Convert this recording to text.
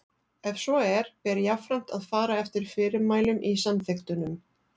Ef svo er ber jafnframt að fara eftir fyrirmælum í samþykktunum.